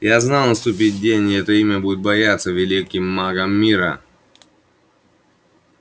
я знал наступит день и это имя будут бояться великим магом мира